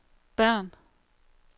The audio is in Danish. Bern